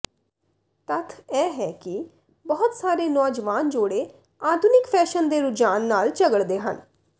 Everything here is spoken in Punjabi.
ਤੱਥ ਇਹ ਹੈ ਕਿ ਬਹੁਤ ਸਾਰੇ ਨੌਜਵਾਨ ਜੋੜੇ ਆਧੁਨਿਕ ਫੈਸ਼ਨ ਦੇ ਰੁਝਾਨ ਨਾਲ ਝਗੜਦੇ ਹਨ